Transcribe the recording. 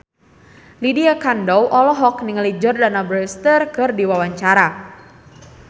Lydia Kandou olohok ningali Jordana Brewster keur diwawancara